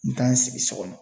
N mɛ taa n sigi so kɔnɔ.